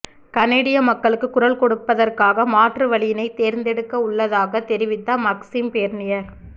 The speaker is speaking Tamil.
கனேடிய மக்களுக்கு குரல் கொடுப்பதற்காக மாற்று வழியினைத் தேர்ந்தெடுக்கவுள்ளதாக தெரிவித்த மக்சிம் பேர்னியர்